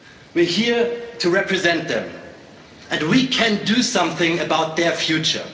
we are here to represent them and we can do something about their future.